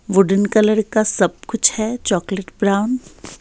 Wooden colour का सब कुछ है चॉकलेट ब्राउन ।